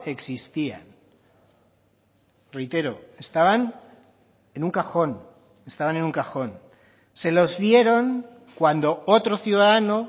existían reitero estaban en un cajón estaban en un cajón se los dieron cuando otro ciudadano